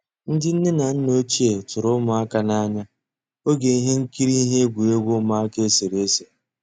Ndị́ nnè ná nná òchíé tụ̀rụ̀ ụmụ́àká n'ànyá ògé íhé nkírí íhé égwurégwu ụmụ́àká éséréésé.